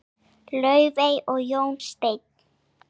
Laufey og Jón Steinn.